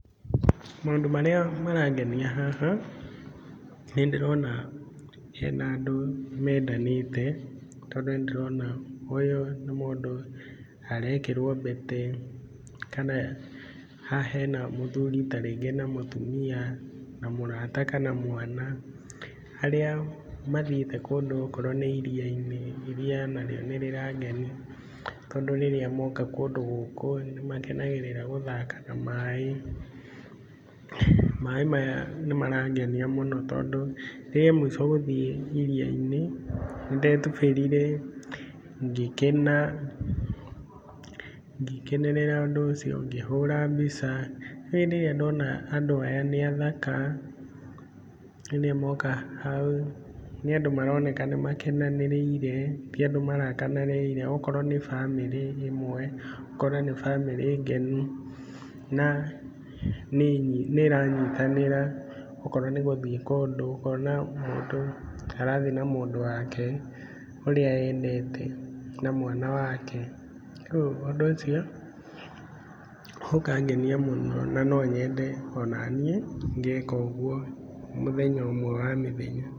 Maũndũ marĩa marangenia haha, nĩndĩrona hena andũ mendanĩte, tondũ nĩndĩrona ũyũ nĩ mũndũ arekirwo mbete. Kana, haha hena mũthuri ta rĩngĩ na mũtumia, na mũrata kana mwana arĩa mathiĩte kũndũ o korwo nĩ iria-inĩ, iria nario nĩrĩrangenia, tondũ rĩrĩa moka kũndũ gũkũ nĩmakenagĩrĩra gũthaka na maaĩ. Maaĩ maya nĩmarangenia mũno tondũ, rĩa muico gũthiĩ iria-inĩ nĩ ndetũbĩrire, ngĩkena, ngĩkenerera ũndũ ũcio, ngĩhũra mbica. Rĩu rĩrĩa ndona andũ aya, nĩ athaka rĩrĩa moka hau. Nĩ andũ maroneka nĩ makenanĩrĩire, ti andu marakanĩrĩire. O korwo nĩ bamĩrĩ ĩmwe, ũkona nĩ bamĩrĩ ngenu, na nĩ ĩranyitanĩra o korwo nĩ gũthiĩ kũndũ, ũkona mũndũ arathiĩ na mũndũ wake ũrĩa endete na mwana wake. Koguo ũndũ ũcio ũkangenia mũno na no nyende ona niĩ ngeka ũguo mũthenya ũmwe wa mĩthenya.